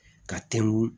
Ka tɛngu